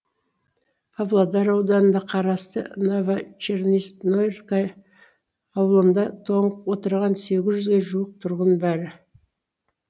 павлодар ауданына қарасты новочерноснорвка ауылында тоңып отырған сегіз жүзге жуық тұрғын бар